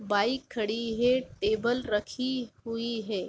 Bike खड़ी है table रखी हुई है।